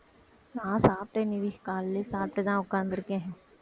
நான் சாப்பிட்டேன் நிவி காலையிலேயே சாப்பிட்டுதான் உட்கார்ந்து இருக்கேன்